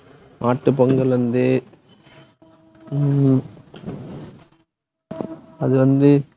தெரியலை அக்கா